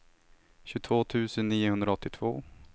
tjugotvå tusen niohundraåttiotvå